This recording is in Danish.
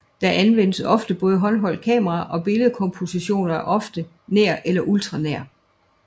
Der anvendes ofte håndholdt kamera og billedkompositionen er ofte nær eller ultranær